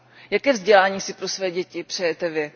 Jaké vzdělání si pro své děti přejete vy?